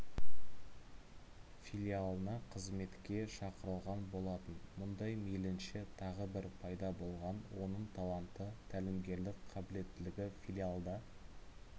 филиалына қызметке шақырылған болатын мұнда мейлінше тағы бір пайда болған оның таланты тәлімгерлік қабілеттілігі филиалда